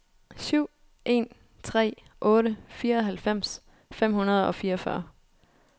syv en tre otte fireoghalvfems fem hundrede og fireogfyrre